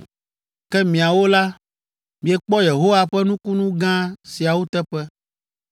“Ke miawo la, miekpɔ Yehowa ƒe nukunu gã siawo teƒe,